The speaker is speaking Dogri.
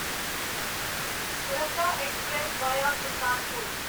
Farakka express via Sultanpur